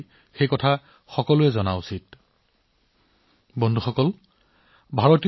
সাত সাগৰৰ সিপাৰে থকা লোকসকলক ই কেনেদৰে লাভান্বিত কৰে সেয়া চাবলৈ অভিনৱ পদ্ধতিও গ্ৰহণ কৰা হৈছে